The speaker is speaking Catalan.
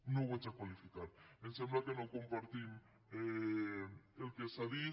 no ho vaig a qualificar em sembla que no compartim el que s’ha dit